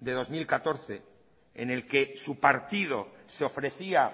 de dos mil catorce en el que su partido se ofrecía